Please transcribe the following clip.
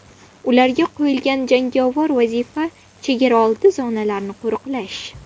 Ularga qo‘yilgan jangovar vazifa chegaraoldi zonalarini qo‘riqlash.